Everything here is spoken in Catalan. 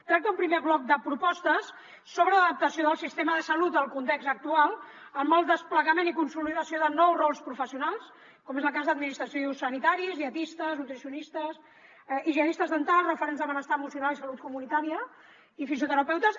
tracta un primer bloc de propostes sobre l’adaptació del sistema de salut al context actual amb el desplegament i consolidació de nous rols professionals com és el cas d’administració i o sanitaris dietistes nutricionistes higienistes dentals referents de benestar emocional i salut comunitària i fisioterapeutes